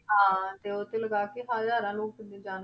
ਹਾਂ ਤੇ ਉਹ ਤੇ ਲਗਾ ਕੇੇ ਹਜ਼ਾਰਾਂ ਲੋਕਾਂ ਦੀ ਜਾਨ